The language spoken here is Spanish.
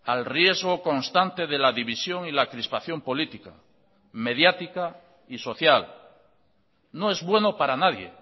al riesgo constante de la división y la crispación política mediática y social no es bueno para nadie